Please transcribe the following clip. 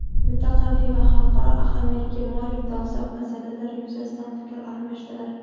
mintaqaviy va xalqaro ahamiyatga molik dolzarb masalalar yuzasidan fikr almashdilar.